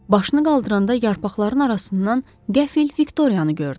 Başını qaldıranda yarpaqların arasından qəfil Viktoriyanı gördü.